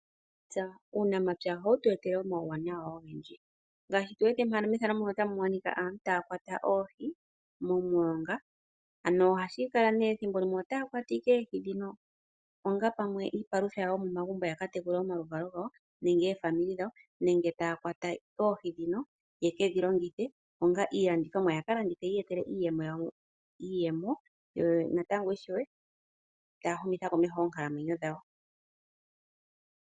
Uunamapya ohawu tu etele uuwanawa owundji ngaashi aantu mbono haya kwata oohi momilonga. Thimbo limwe ohaya kwata onga iipalutha nenge ta yedhi kwata ya kalandithe yi iyetele iiyemo ya humithe komeho oonkalamwenyo dhawo.